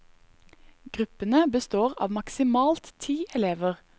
Gruppene består av maksimalt ti elever.